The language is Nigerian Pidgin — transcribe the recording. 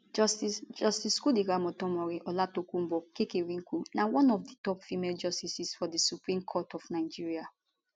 justice justice kudirat motonmori olatokunbo kekereekun na one of di top female justices for di supreme court of nigeria